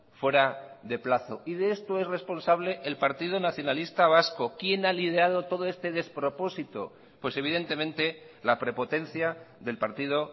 fuera de plazo y de esto es responsable el partido nacionalista vasco quién a liderado todo este despropósito pues evidentemente la prepotencia del partido